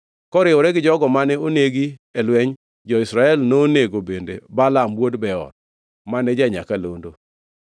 Koriwore gi jogo mane onegi e lweny, jo-Israel nonego bende Balaam wuod Beor, mane ja-nyakalondo.